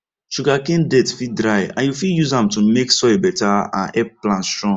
sugarcane dirt fit dry and you fit use am to make soil better and help plant strong